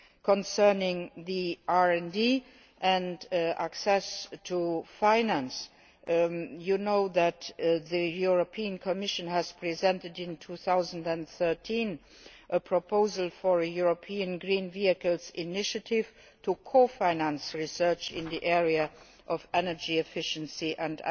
Concerning RD and access to finance, the European Commission presented in 2013 a proposal for a European green vehicles initiative to co finance research in the area of energy efficiency and